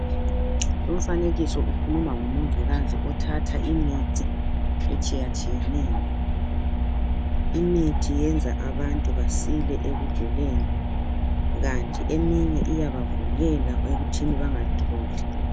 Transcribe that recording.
Umfanekiso ukhuluma ngomongikazi othatha imithi etshiyatshiyeneyo. Imithi yenza abantu basile ekuguleni, kanti eminye iyabavikela ekuthini bangatholi.